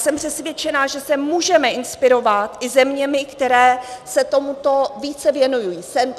Jsem přesvědčena, že se můžeme inspirovat i zeměmi, které se tomuto více věnují.